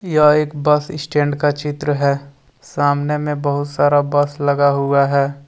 यह एक bus stand का चित्र है सामने में बहुत सारा बस लगा हुआ है।